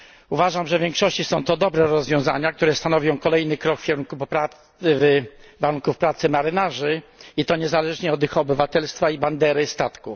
Uważam, że w większości są to dobre rozwiązania, które stanowią kolejny krok w kierunku poprawy warunków pracy marynarzy, i to niezależnie od ich obywatelstwa i bandery statku.